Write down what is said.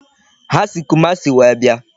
Ha si Kumasi wee bịa.